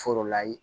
Foro la ye